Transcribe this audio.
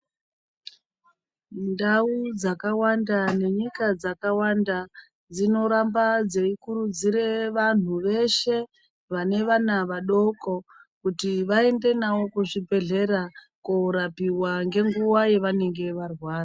Ntau dzakawanda nenyika dzakawanda dzinoramba dzeikurudzire vantu veshe vane vana vadoko kuti vaende navo kuzvibhedhlera kunorapiwa ngenguva yavanenge varwara.